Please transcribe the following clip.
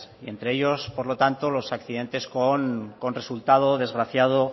y entre ellos por lo tanto los accidentes con resultado desgraciado